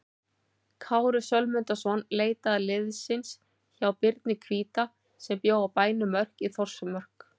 Kári Sölmundarson leitaði liðsinnis hjá Birni hvíta sem bjó á bænum Mörk í Þórsmörk.